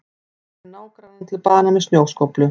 Barði nágrannann til bana með snjóskóflu